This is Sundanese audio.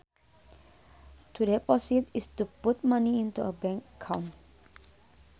To deposit is to put money into a bank account